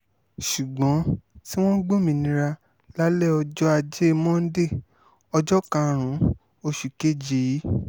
ṣùgbọ́n tí wọ́n gbòmìnira lálẹ́ ọjọ́ ajé monde ọjọ́ karùn-ún oṣù kejì yìí